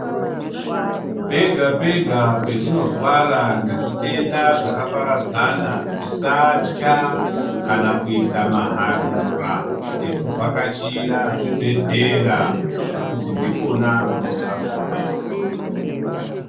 Pega pega petinorwara ngezvitenda zvakaparadzana tisatya kana kuita maharura ekuvhakachira zvibhehlera ngekuti ndikona kunobva ruponeso.